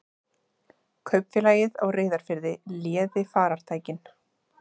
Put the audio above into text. Kaupfélagið á Reyðarfirði léði farartækin.